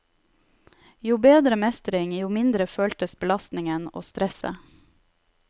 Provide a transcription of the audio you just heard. Jo bedre mestring, jo mindre føltes belastningen og stresset.